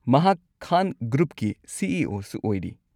ꯃꯍꯥꯛ ꯈꯥꯟ ꯒ꯭ꯔꯨꯞꯀꯤ C. E. O. ꯁꯨ ꯑꯣꯏꯔꯤ꯫